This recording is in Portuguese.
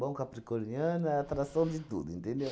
capricorniano, a atração de tudo, entendeu?